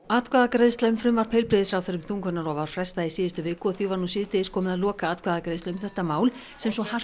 atkvæðagreiðslu um frumvarp heilbrigðisráðherra um þungunarrof var frestað í síðustu viku og því var nú síðdegis komið að lokaatkvæðagreiðslu um þetta mál sem svo hart